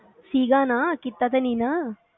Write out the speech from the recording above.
ਸੀਗਾ ਨਾ ਕੀਤਾ ਤੇ ਨਈ ਨਾ